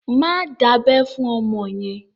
Má dábẹ́ fún ọmọ yẹn!